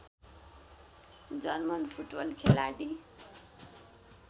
German football खेलाडी